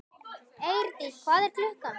Eirdís, hvað er klukkan?